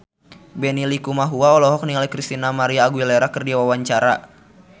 Benny Likumahua olohok ningali Christina María Aguilera keur diwawancara